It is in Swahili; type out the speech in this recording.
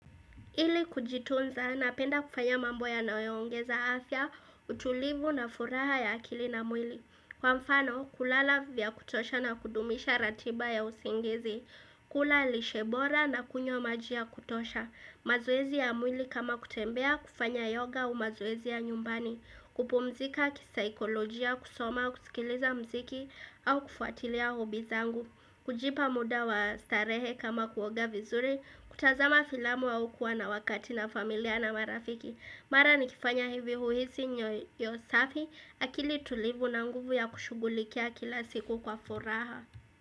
Ili kujitunza na penda kufanya mambo ya naoyongeza afya, utulivu na furaha ya akili na mwili. Kwa mfano, kulala vya kutosha na kudumisha ratiba ya usingizi. Kula lishebora na kunywa maji ya kutosha. Mazoezi ya mwili kama kutembea, kufanya yoga au mazoezi ya nyumbani. Kupumzika kisaikolojia, kusoma, kusikiliza mziki au kufuatilia hobi zangu. Kujipa muda wa starehe kama kuoga vizuri, kutazama filamu au kuwa na wakati na familia na marafiki Mara ni kifanya hivi huhisi nyoyosafi, akili tulivu na nguvu ya kushugulikia kila siku kwa furaha.